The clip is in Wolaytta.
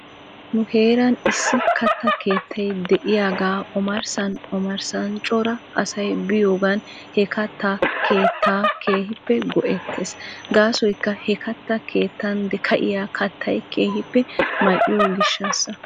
Nu heeran issi katta keettay de'iyaagaa omarssan omarssan cora asay biyoogan he katta keettaa keehippe go'ettes. Gaasoykka he katta keettan ka'iyaa kattay keehippe mal"iyoo gishshaasa.